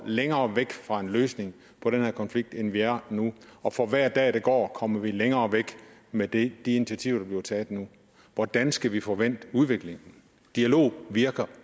længere væk fra en løsning på den her konflikt end vi er nu og for hver dag der går kommer vi længere væk med de initiativer der bliver taget nu hvordan skal vi få vendt udviklingen dialog virker